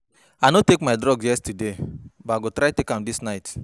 I no take my drug yesterday but I go try take am dis night